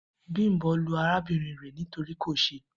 Bimbo lu arabinrin re nitori ko se.